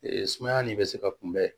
Ee sumaya nin bɛ se ka kunbɛn